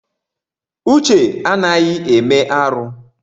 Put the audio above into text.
Uche anaghị eme arụ.